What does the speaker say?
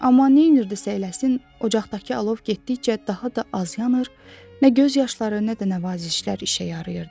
Amma nə edirdisə eləsin, ocaqdakı alov getdikcə daha da az yanır, nə göz yaşları, nə də nəvazişlər işə yarıyırdı.